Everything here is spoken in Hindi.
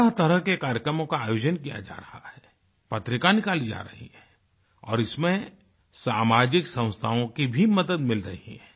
तरहतरह के कार्यक्रमों का आयोजन किया जा रहा है पत्रिका निकाली जा रही है और इसमें सामाजिक संस्थाओं की भी मदद मिल रही है